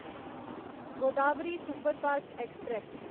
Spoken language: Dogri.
Godavari superfast express